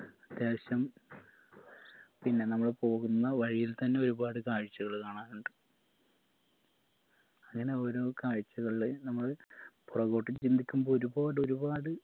അത്യാവശ്യം പിന്ന നമ്മൾ പോകുന്ന വഴിയിൽ തന്നെ ഒരുപാട് കാഴ്ചകൾ കാണാനിണ്ട്‌ അങ്ങനെ ഓരോ കാഴ്ചകളിൽ നമ്മള് പുറകോട്ട് ചിന്തിക്കുമ്പോ ഒരുപാട് ഒരുപാട്